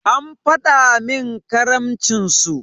An faɗi min karamcin su.